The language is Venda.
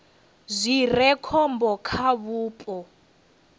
zwi re khombo kha vhupo